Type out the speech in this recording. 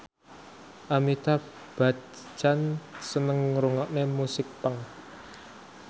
Amitabh Bachchan seneng ngrungokne musik punk